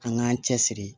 An k'an cɛ siri